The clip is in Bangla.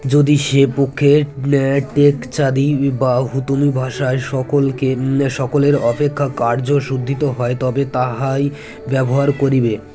যদি সে পক্ষের টেকচাঁদি বা হুতুম ভাষায় সকলকে সকলের অপেক্ষা কার্যসুদ্ধিত হয় তবে তাহাই ব্যবহার করিবে